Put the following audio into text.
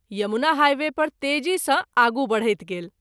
Yamuna highway पर तेजी सँ आगू बढैत गेल।